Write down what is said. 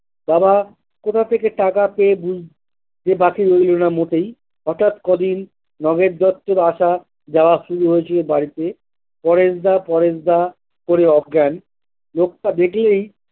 বাবা কোথা থেকে টাকা পেয়েছে বুঝতে বাকি রইলোনা মোটেই হঠাৎ কদিন নগেন দত্তের আসা যাওয়া শুরু হয়েছিল বাড়িতে পরেশ দা পরেশ দা করেই অজ্ঞান লোকটা দেখলেই।